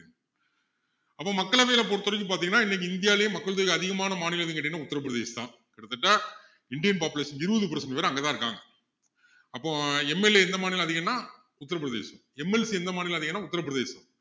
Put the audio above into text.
அப்போ மக்களவையில பொறுத்த வரைக்கும் பாத்திங்கன்னா இன்னைக்கு இந்தியாவுலேயே மக்கள் தொகை அதிகமான மாநிலம் எதுன்னு கேட்டீங்கன்னா உத்தர பிரதேசம் தான் கிட்டத்தட்ட indian population இருபது percent பேரு அங்கதான் இருக்காங்க அப்போ MLA எந்த மாநிலம் அதிகம்னா உத்தர பிரதேசம் MLA எந்த மாநிலம் அதிகம்னா உத்தர பிரதேசம்